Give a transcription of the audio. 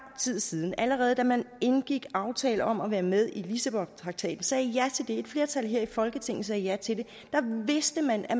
tid siden allerede da man indgik aftalen om at være med i lissabontraktaten og sagde ja til det et flertal her i folketinget sagde ja til det vidste man at